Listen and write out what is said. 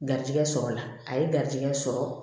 Garijigɛ sɔrɔla a ye garijigɛ sɔrɔ